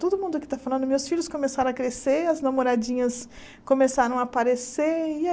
Todo mundo aqui está falando, meus filhos começaram a crescer, as namoradinhas começaram a aparecer. E a